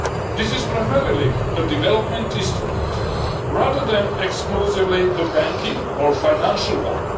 This is primarily a development instrument rather than exclusively a banking or financial one.